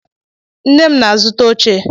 Nne m na-azụta oche.